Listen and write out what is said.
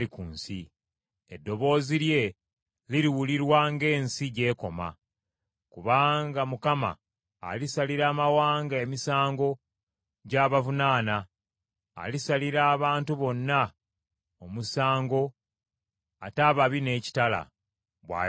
Eddoboozi lye liriwulirwa n’ensi gy’ekoma. Kubanga Mukama alisalira amawanga emisango gy’abavunaana, alisalira abantu bonna omusango, atte ababi n’ekitala,’ ” bw’ayogera Mukama .